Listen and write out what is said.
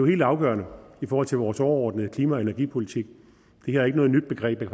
helt afgørende i forhold til vores overordnede klima og energipolitik det her er ikke noget nyt begreb jeg